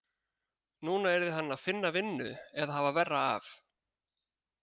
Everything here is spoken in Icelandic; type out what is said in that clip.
Núna yrði hann að finna vinnu eða hafa verra af.